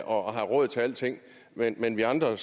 og har råd til alting men men vi andre